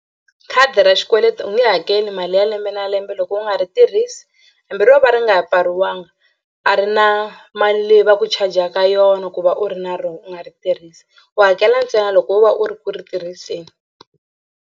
Khadi ra xikweleti u nge hakeli mali ya lembe na lembe loko u nga ri tirhisi hambi ro va ri nga pfariwanga a ri na mali leyi va ku charger-ka yona ku va u ri na rona u nga ri tirhisi u hakela ntsena loko wo va u ri ku ri tirhiseni.